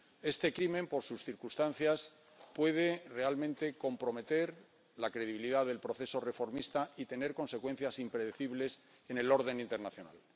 Este crimen, por sus circunstancias, puede realmente comprometer la credibilidad del proceso reformista y tener consecuencias impredecibles en el orden internacional.